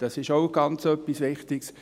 Dies ist auch etwas ganz Wichtiges.